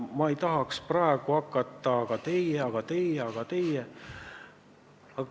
Ma ei taha praegu hakata süüdistama: aga teie, aga teie, aga teie ...